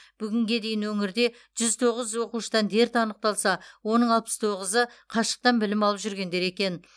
бүгінге дейін өңірде жүз тоғыз оқушыдан дерт анықталса оның алпыс тоғызы қашықтан білім алып жүргендер екен